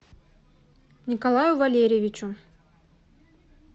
николаю валерьевичу